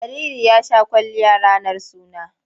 Jariri ya sha kwalliya ranar suna.